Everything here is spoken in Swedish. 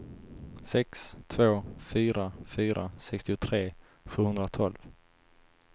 sex två fyra fyra sextiotre sjuhundratolv